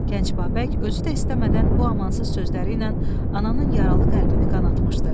Gənc Babək özü də istəmədən bu amansız sözləri ilə ananın yaralı qəlbini qanatmışdı.